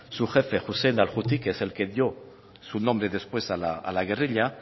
su jefe juti es el que dio su nombre después a la guerrilla